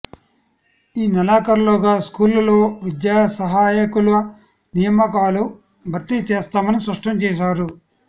ఈ నెలాఖరులోగా స్కూళ్లలో విద్యాసహాయకుల నియామకాలు భర్తీ చేస్తామని స్పష్టం చేశారు